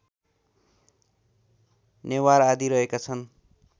नेवार आदि रहेका छन्